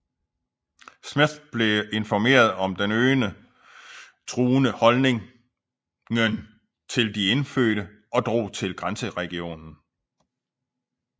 Smith blev informeret om den øgende truende holdningen til de indfødte og drog til grænseregionen